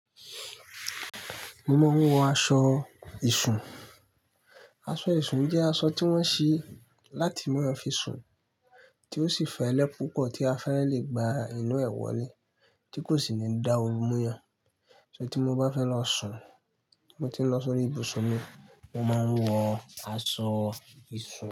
Mo máa ń wọ aṣọ ìṣùn. Aṣọ ìṣùn jẹ́ aṣọ tí wọ́n ṣẹ́ láti máa fi sùn tí ó sì fẹ́lẹ́ púpọ̀ tí a fẹ́rẹ̀ lè gba inú ẹ̀ wọ lé tí kò sì ní dá oru mu yàn. Ṣé tí mo bá fẹ́ lọ sùn, tí mo bá ti ń lọ sọ́rí ibùsùn mi, mo máa ń wọ aṣọ ìṣùn.